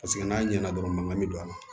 Paseke n'a ɲɛna dɔrɔn mankan bɛ don a la